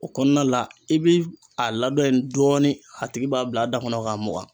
O kɔnɔna la i bi a laadon in dɔɔni a tigi b'a bila a da kɔnɔ k'a mugan.